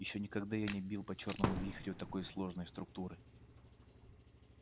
ещё никогда я не бил по чёрному вихрю такой сложной структуры